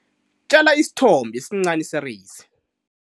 Tjala isithombo esincani sereyisi.